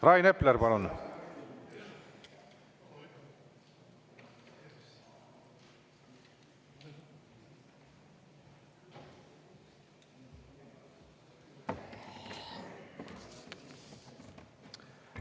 Rain Epler, palun!